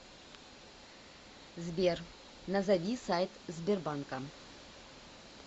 сбер назови сайт сбербанка